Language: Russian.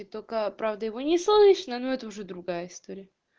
и только правда его не слышно но это уже другая история